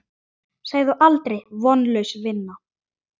Segðu aldrei: Vonlaus vinna!